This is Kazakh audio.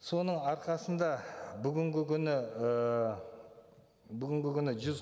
соның арқасында бүгінгі күні ы бүгінгі күні жүз